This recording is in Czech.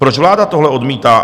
Proč vláda tohle odmítá?